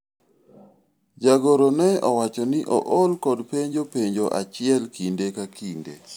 jagoro ne owacho ni ool kod penjo penjo achiel kinde ka kinde